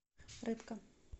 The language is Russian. рыбка